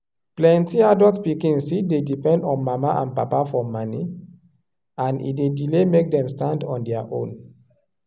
plenti adult pikin still dey depend on mama and papa for moni and e dey delay make dem stand on their own.